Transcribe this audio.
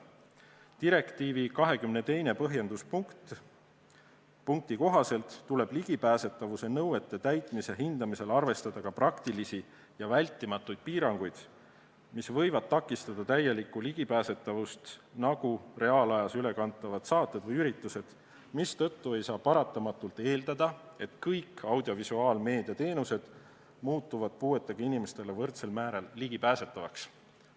Direktiivi 22. põhjenduspunkti kohaselt tuleb ligipääsetavuse nõuete täitmise hindamisel arvestada ka praktilisi ja vältimatuid piiranguid, mis võivad takistada täielikku ligipääsetavust, nagu reaalajas ülekantavad saated või üritused, mistõttu ei saa paratamatult eeldada, et kõik audiovisuaalmeedia teenused muutuvad puuetega inimestele võrdsel määral ligipääsetavaks.